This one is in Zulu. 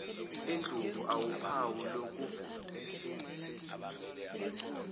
endlovu awuphawu lokuvunda